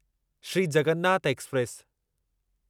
Shri Jagannath express